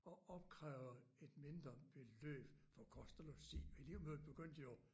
At opkræve et mindre beløb for kost og logi og elevmødet begyndte jo